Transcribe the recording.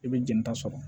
I bɛ jɛnta sɔrɔ